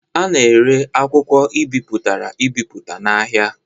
A na-ere akwụkwọ e bipụtara ebipụta n'ahịa.